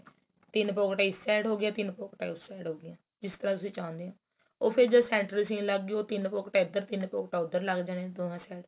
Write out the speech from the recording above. ਤਿੰਨ ਪੋਕੀਟਾ ਇਸ side ਹੋ ਗਈਆਂ ਤਿੰਨ ਪੋਕੀਟਾ ਉਸ side ਹੋ ਗਈਆਂ ਜਿਸ ਤਰਾਂ ਤੁਸੀਂ ਚਾਹਉਣੇ ਓ ਉਹ ਫੇਰ ਜਦ center ਚ ਸੀਨ ਉਹ ਤਿੰਨ ਪੋਕੀਟਾ ਇੱਧਰ ਤਿੰਨ ਪੋਕੀਟਾ ਉੱਧਰ ਲੱਗ ਜਾਣੀਆਂ ਦੋਵਾ side